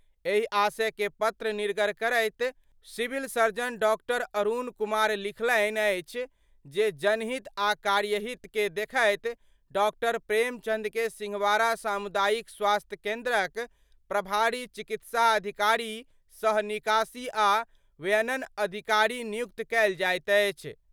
एहि आशय केर पत्र निर्गत करैत सिविल सर्जन डॉ० अरुण कुमार लिखलन्हि अछि जे जनहित आ कार्यहित के देखैत डॉ० प्रेमचंद के सिंहवाड़ा सामुदायिक स्वास्थ्य केंद्रक प्रभारी चिकित्सा अधिकारी सह निकासी आ व्ययन अधिकारी नियुक्त कयल जाइत अछि।